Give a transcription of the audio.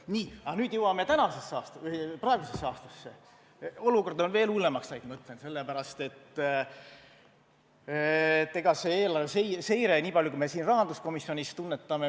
Nii, aga nüüd jõuame tänasesse, praegusesse aastasse, olukord on veel hullemaks läinud, ma ütlen, sellepärast et ega see eelarve seire, nii palju kui me siin rahanduskomisjonis tunnetame.